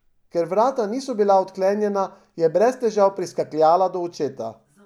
Ker vrata niso bila zaklenjena, je brez težav priskakljala do očeta.